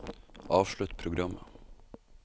avslutt programmet